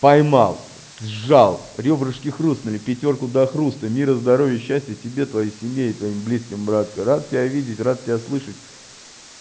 поймал сжал рёбрышки хрустнули пятёрку до хруста мира здоровья счастья тебе твоей семье и твоим близким братка рад тебя видеть рад тебя слышать